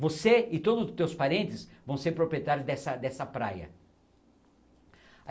Você e todos os teus parentes vão ser proprietários dessa dessa praia.